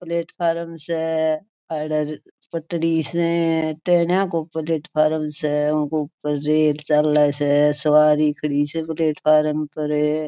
प्लेटफार्म स आड़े पटरी स टेन्ना को प्लेटफार्म स रेल चाले स सवारी खड़ी से प्लेटफार्म पर।